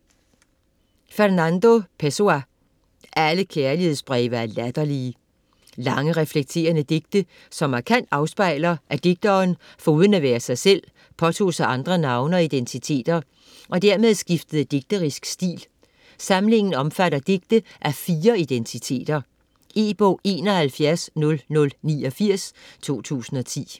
Pessoa, Fernando: Alle kærlighedsbreve er latterlige Lange, reflekterende digte som markant afspejler, at digteren foruden at være sig selv påtog sig andre navne og identiteter, og dermed skiftede digterisk stil. Samlingen omfatter digte af fire identiteter. E-bog 710089 2010.